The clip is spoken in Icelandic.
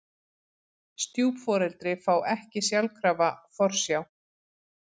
Stjúpforeldri fá ekki sjálfkrafa forsjá